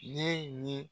Ne ye